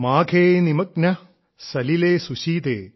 മാഘേ നിമഗ്നാ സലിലേ സുശീതേ